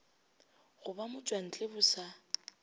go ba motšwantle bo sa